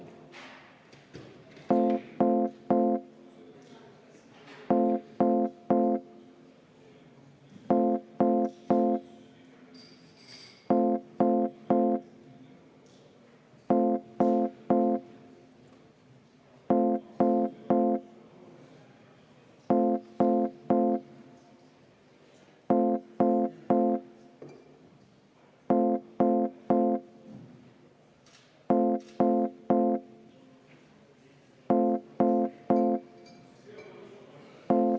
Nii et kümme minutit soovite vaheaega?